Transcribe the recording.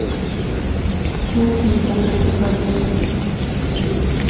матильда показывай